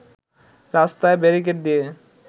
রাস্তায় ব্যারিকেড দিয়ে